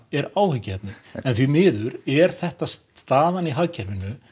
er áhyggjuefni því miður er þetta staðan í hagkerfinu